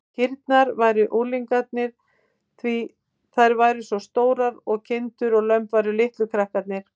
Kýrnar væru unglingarnir, því þær væru svo stórar, og kindurnar og lömbin litlu krakkarnir.